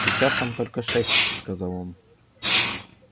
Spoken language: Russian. сейчас там только шесть сказал он